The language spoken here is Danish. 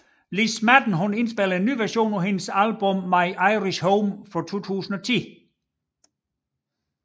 Liz Madden inspillede en ny version på hendes album My Irish Home fra 2010